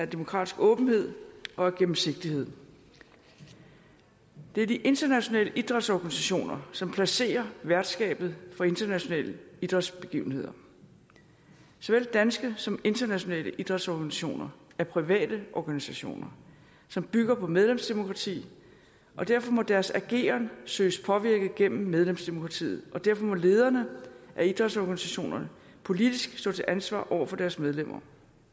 demokratisk åbenhed og af gennemsigtighed det er de internationale idrætsorganisationer som placerer værtskabet for internationale idrætsbegivenheder såvel danske som internationale idrætsorganisationer er private organisationer som bygger på medlemsdemokrati og derfor må deres ageren søges påvirket gennem medlemsdemokratiet og derfor må lederne af idrætsorganisationerne politisk stå til ansvar over for deres medlemmer